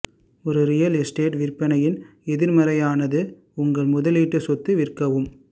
ஒரு real estate விற்பனையின் எதிர்மறையானது உங்கள் முதலீட்டு சொத்து விற்கவும்